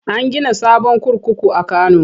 An gina sabon kurkuku a Kano.